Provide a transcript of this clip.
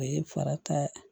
O ye farata